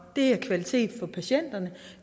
det er kvalitet for patienterne og